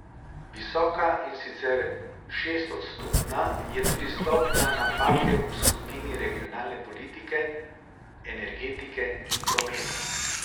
Visoka, in sicer šestodstotna, je tudi stopnja napake v skupini regionalne politike, energetike in prometa.